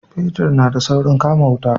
Fetir na da saurin kama wuta